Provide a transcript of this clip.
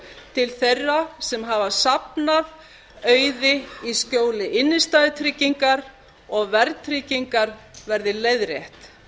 til þeirra sem hafa safnað auði í skjóli innstæðutryggingar og verðtryggingar verið leiðrétt